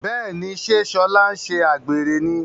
Béèni ṣe Shola nṣe àgbèrè ní.